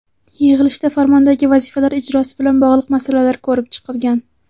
Yig‘ilishda farmondagi vazifalar ijrosi bilan bog‘liq masalalar ko‘rib chiqilgan.